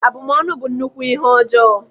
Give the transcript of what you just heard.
Abụmọnụ bụ nnukwu ihe ọjọọ